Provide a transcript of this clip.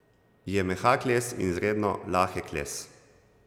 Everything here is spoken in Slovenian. Je mehak les in izredno lahek les.